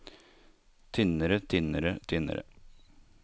tynnere tynnere tynnere